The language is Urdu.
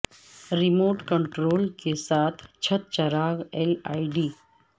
ریموٹ کنٹرول کے ساتھ چھت چراغ ایل ای ڈی